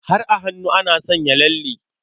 Har a hannu ana sanya lalle.